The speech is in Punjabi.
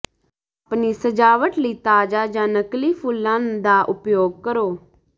ਆਪਣੀ ਸਜਾਵਟ ਲਈ ਤਾਜ਼ਾ ਜਾਂ ਨਕਲੀ ਫੁੱਲਾਂ ਦਾ ਉਪਯੋਗ ਕਰੋ